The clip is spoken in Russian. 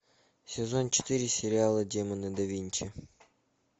сезон четыре сериала демоны да винчи